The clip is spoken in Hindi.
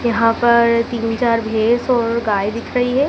यहां पर तीन चार भैंस और गाय दिख रही है।